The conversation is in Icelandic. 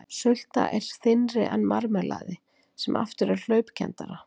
Sulta er þynnri en marmelaði sem aftur er hlaupkenndara.